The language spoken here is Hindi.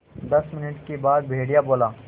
दस मिनट के बाद भेड़िया बोला